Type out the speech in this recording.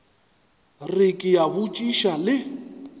re ke a botšiša le